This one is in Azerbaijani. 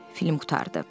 Film qurtardı.